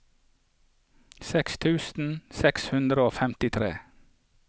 seksten tusen seks hundre og femtitre